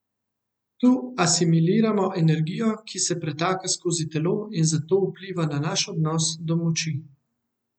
Tu asimiliramo energijo, ki se pretaka skozi telo, in zato vpliva na naš odnos do moči.